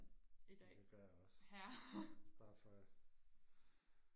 ja det gør jeg også bare for